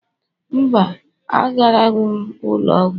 Mba, agaraghị m ụlọ ọgwụ